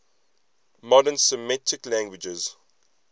modern semitic languages